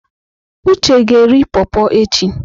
Uche ga-eri pọrpọr echi.